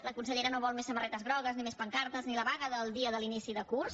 la consellera no vol més samarretes grogues ni més pancartes ni la vaga del dia de l’inici de curs